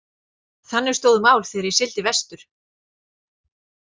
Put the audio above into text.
Þannig stóðu mál þegar ég sigldi vestur.